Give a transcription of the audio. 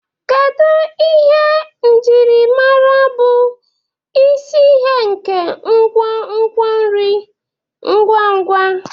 Kedu ihe njirimara bụ isi nke nkwonkwo nri ngwa ngwa?